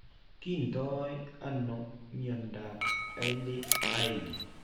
Kiinton ano mnyandop Hailey Hailey?